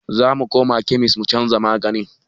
Zamu koma kemis mu canza maganin